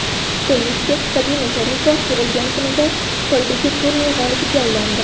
Tennischi Sabina Sharipova tug‘ilgan kunida Xitoydagi turnir g‘olibiga aylandi.